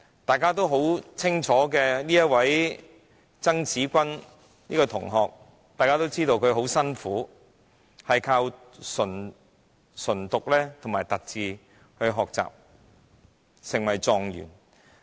大家都知道有一位很聰明的曾芷君同學，眾所周知，她非常刻苦，靠着唇讀和凸字學習，最終成為狀元。